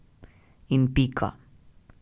In pika.